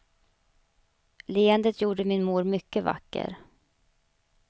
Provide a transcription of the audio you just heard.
Leendet gjorde min mor mycket vacker.